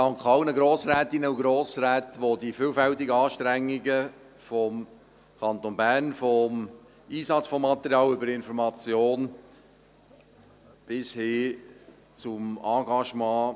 Ich danke allen Grossrätinnen und Grossräten, welche die vielfältigen Anstrengungen des Kantons Bern gewürdigt haben, vom Einsatz von Material über die Information bis hin zum Engagement.